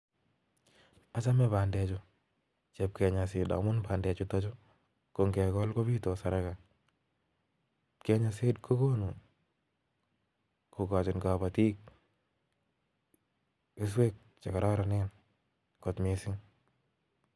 Achame bander chuu chep (Kenya seed) amune ngekol. pandechutok kobitos komnyee neaa